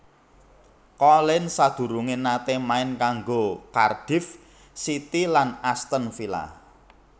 Collins sadurungé naté main kanggo Cardiff City lan Aston Villa